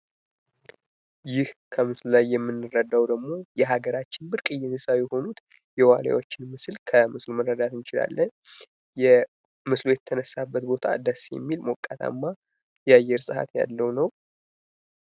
ይህ ከምስሉ ላይ የምረዳዉ ደግሞ የሀገራችን ብርቅየ እንስሳ የሆኑት የዋልያዎቹን ምስል ከምስል መረዳት እንችላለን። የምስሉ የተነሳበት ቦታ ደስ የሚል ሞቃታማ የአየር ሰዓት ያለዉ ነዉ።